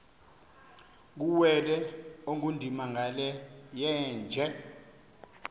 kuwele ongundimangele yeenje